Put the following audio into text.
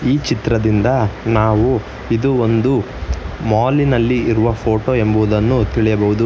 ಈ ಚಿತ್ರದಿಂದ ನಾವು ಇದು ಒಂದು ಮಾಲಿನಲ್ಲಿ ಇರುವ ಫೋಟೋ ಎಂದು ತಿಳಿಯಬಹುದು.